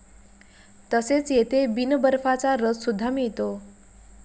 तसेच येथे बिनबर्फाचा रस सुद्धा मिळतो.